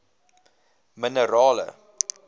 minerale